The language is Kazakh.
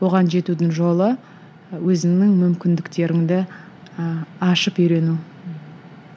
оған жетудің жол і өзіңнің мүмкіндіктеріңді і ашып үйрену